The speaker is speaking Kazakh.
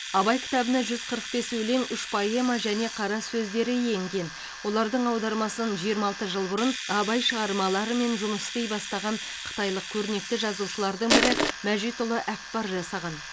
абай кітабына жүз қырық бес өлең үш поэма және қара сөздері енген олардың аудармасын жиырма алты жыл бұрын абай шығармаларымен жұмыс істей бастаған қытайлық көрнекті жазушылардың бірі мәжитұлы әкпар жасаған